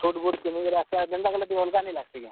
Suit, boot ପିନ୍ଧିକରି ଆସ୍ ବା ଜେନ୍ତା କଲେ ବି ଅଲ୍ ଗା ନି ଲାଗ୍ ସି କେଁ?